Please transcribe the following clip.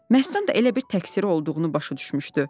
Məstan da elə bil təqsiri olduğunu başa düşmüşdü.